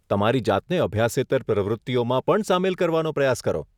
તમારી જાતને અભ્યાસેતર પ્રવૃત્તિઓમાં પણ સામેલ કરવાનો પ્રયાસ કરો.